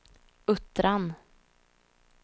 Uttran